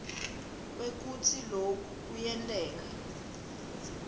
kwekutsi loku kuyenteka